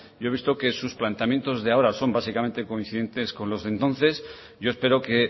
yo he visto que sus planteamientos de ahora son básicamente coincidentes con los de entonces yo espero que